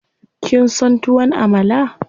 Kin son tuwon Amala?